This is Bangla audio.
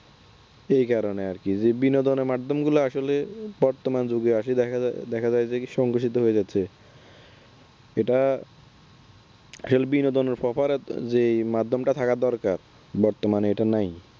এই কারণে আর কি। বিনোদনের মাধ্যমগুলো আসলে বর্তমানে যুগে এসে দেখা যায় যে সংগসিদ্ধ হয়ে যাচ্ছে এটা খেল বিনোদনের যে Proper যে মাধ্যমটা থাকা দরকার বর্তমানে এটা নাই।